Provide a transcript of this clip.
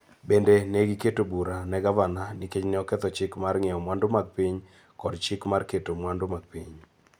Bende, ne giketo bura ne gavana nikech ne oketho chik mar ng�iewo mwandu mag piny kod chik mar keto mwandu mag piny.